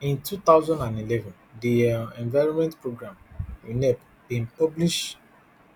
in two thousand and eleven di un environment programme unep bin publish